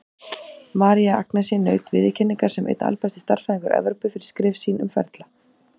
María Agnesi naut viðurkenningar sem einn albesti stærðfræðingur Evrópu, fyrir skrif sín um ferla.